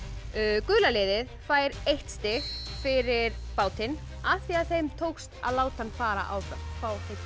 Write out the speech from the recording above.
gula liðið fær eitt stig fyrir bátinn af því þeim tókst að láta hann fara áfram fá eitt